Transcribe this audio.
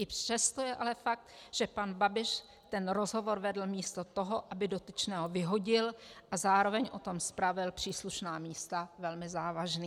I přesto je ale fakt, že pan Babiš ten rozhovor vedl místo toho, aby dotyčného vyhodil a zároveň o tom zpravil příslušná místa, velmi závažný."